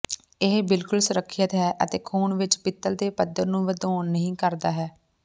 ਇਹ ਬਿਲਕੁਲ ਸੁਰੱਖਿਅਤ ਹੈ ਅਤੇ ਖੂਨ ਵਿਚ ਪਿੱਤਲ ਦੇ ਪੱਧਰ ਨੂੰ ਵਧਾਉਣ ਨਹੀ ਕਰਦਾ ਹੈ